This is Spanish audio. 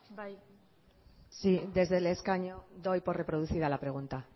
bai sí desde el escaño doy por reproducida la pregunta